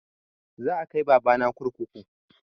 Za a kai baba na kurkuku